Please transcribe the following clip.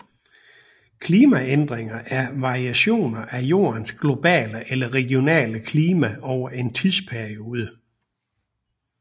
Klimaændringer er variationer af Jordens globale eller regionale klima over en tidsperiode